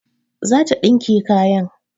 Zata dinke kayan